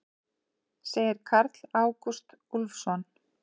Segir Karl Ágúst Úlfsson.